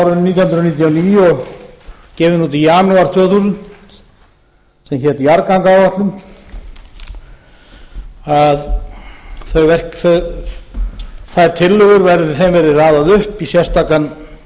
árinu nítján hundruð níutíu og níu og gefin út í janúar tvö þúsund sem hét jarðgangaáætlun að þeim tillögum verði raðað upp í sérstakan